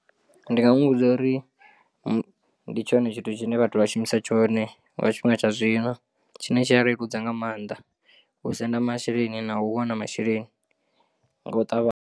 Ndi nga muvhudza uri ndi tshone tshithu tshine vhathu vha shumisa tshone nga tshifhinga tsha zwino tshine tshi a leludza nga maanḓa u senda masheleni na u wana masheleni nga u ṱavhanya.